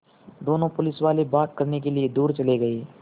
दोनों पुलिसवाले बात करने के लिए दूर चले गए